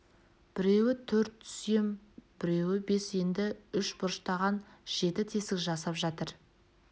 біреуі төрт сүйем біреуі бес енді үш бұрыштаған жеті тесік жасап жатыр